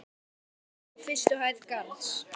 Séð eftir gangi á fyrstu hæð Garðs.